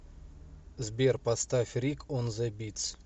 сбер поставь рик он зе битс